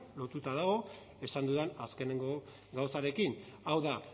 lotuta dago esan dudan azkeneko gauzarekin hau da